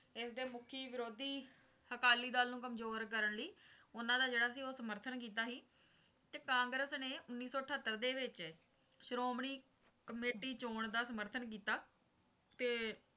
ਇਸਦੇ ਮੁਖੀ ਵਿਰੋਧੀ ਅਕਾਲੀ ਦਲ ਨੂੰ ਕਮਜ਼ੋਰ ਕਰਨ ਲਈ ਉਨ੍ਹਾਂ ਦਾ ਜਿਹੜਾ ਸੀ ਉਹ ਸਮਰਥਨ ਕੀਤਾ ਸੀ ਤੇ ਕਾਂਗਰਸ ਨੇ ਉੱਨੀ ਸੌ ਅਠਹੱਤਰ ਦੇ ਵਿੱਚ ਸ਼੍ਰੋਮਣੀ ਕਮੇਟੀ ਚੋਣ ਦਾ ਸਮਰਥਨ ਕੀਤਾ ਤੇ